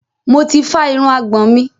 Mo ti fá irun àgbọ̀n mi.